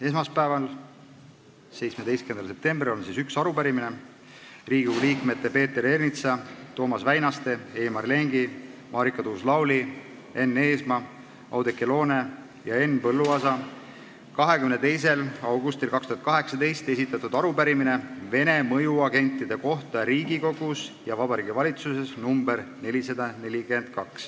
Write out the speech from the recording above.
Esmaspäeval, 17. septembril on üks arupärimine: Riigikogu liikmete Peeter Ernitsa, Toomas Väinaste, Heimar Lengi, Marika Tuus-Lauli, Enn Eesmaa, Oudekki Loone ja Henn Põlluaasa 22. augustil 2018 esitatud arupärimine Vene mõjuagentide kohta Riigikogus ja Vabariigi Valitsuses .